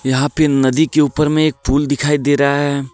यहां पे नदी के ऊपर में एक पूल दिखाई दे रहा है.